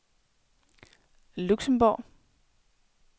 Luxembourg